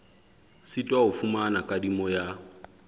sitwa ho fumana kadimo ya